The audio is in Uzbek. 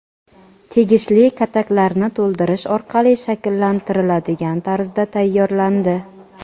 tegishli kataklarni to‘ldirish orqali shakllantiriladigan tarzda tayyorlandi.